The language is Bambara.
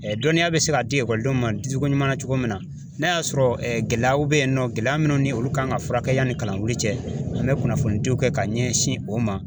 dɔnniya bɛ se ka di ekɔlidenw ma di cogo ɲuman na cogo min na, n'a y'a sɔrɔ gɛlɛyaw bɛ yen nɔ, gɛlɛya minnu ni olu kan ka furakɛ yanni kalan wili cɛ an bɛ kunnafoni diw kɛ ka ɲɛsin o ma .